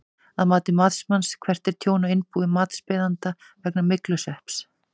Að mati matsmanns, hvert er tjón á innbúi matsbeiðanda vegna myglusvepps?